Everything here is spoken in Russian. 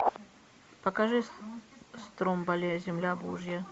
покажи стромболи земля божья